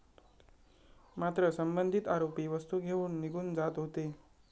मात्र, संबंधित आरोपी वस्तू घेऊन निघून जात होते.